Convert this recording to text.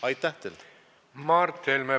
Mart Helme, palun!